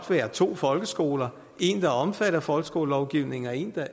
være to folkeskoler en der omfatter folkeskolelovgivningen og en